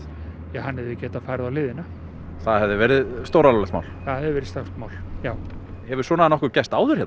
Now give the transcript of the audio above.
hann hefði getað farið á hliðina það hefði verið stóralvarlegt það hefði verið stórt mál já hefur svona nokkuð gerst áður hérna